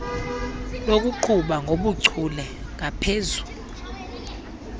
lokuqhuba ngobuchule ngaphezu